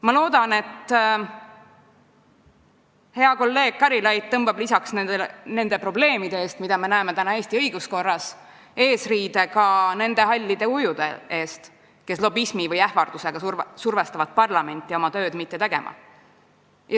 Ma loodan, et hea kolleeg Karilaid lisaks sellele, et ta tõmbab eesriide nende probleemide eest, mida me näeme täna Eesti õiguskorras, tõmbab eesriide ka nende hallide kujude eest, kes lobismi või ähvardusega survestavad parlamenti oma tööd mitte tegema.